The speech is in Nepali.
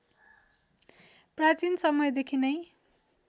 प्राचीन समयदेखि नै